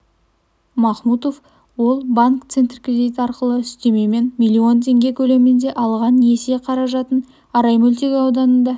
махмутов ол банк центркредит арқылы үстемемен миллион теңге көлемінде алған несие қаражатын арай мөлтек ауданында